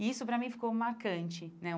E isso para mim ficou marcante, né?